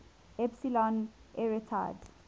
epsilon arietids